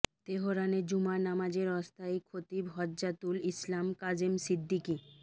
তেহরানের জুমা নামাজের অস্থায়ী খতিব হুজ্জাতুল ইসলাম কাযেম সিদ্দিকি